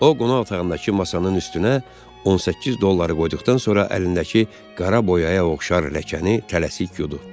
O qonaq otağındakı masanın üstünə 18 dolları qoyduqdan sonra əlindəki qara boyaya oxşar ləkəni tələsik yudu.